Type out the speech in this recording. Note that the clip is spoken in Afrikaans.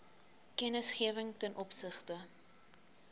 kennisgewing ten opsigte